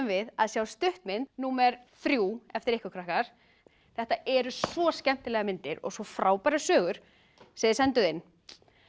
við að sjá stuttmynd númer þrjú eftir ykkur krakkar þetta eru svo skemmtilegar myndir og svo frábærar sögur sem þið senduð inn